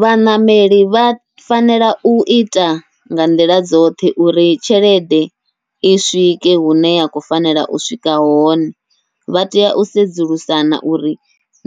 Vhaṋameli vha fanela uita nga nḓila dzoṱhe uri tshelede i swike hune ya khou fanela u swika hone, vha tea u sedzulusana uri